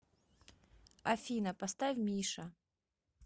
афина поставь миша